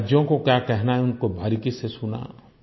राज्यों को क्या कहना है उनको बारीकी से सुना